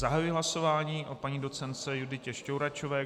Zahajuji hlasování o paní docentce Juditě Štouračové.